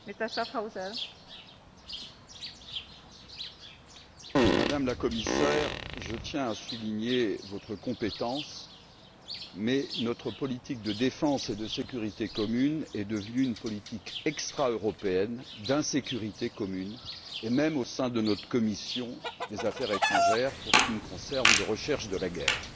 Madame la Présidente, Madame la Commissaire, je tiens à souligner votre compétence, mais notre politique de sécurité et de défense commune est devenue une politique extraeuropéenne d'insécurité commune et même, au sein de notre commission des affaires étrangères, pour ce qui me concerne, de recherche de la guerre.